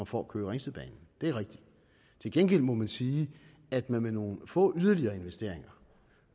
får køge ringsted banen det er rigtigt til gengæld må man sige at man med nogle få yderligere investeringer